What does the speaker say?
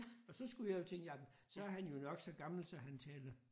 Og så skulle jeg jo tænke jamen så er han jo nok så gammel at han taler